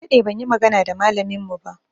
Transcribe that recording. Na daɗe ban yi magana da malamin mu ba.